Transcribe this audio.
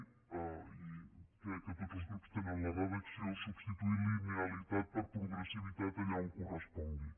i crec que tots els grups tenen la redacció substituir linealitat per progressivitat allà on correspongui